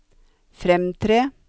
fremtre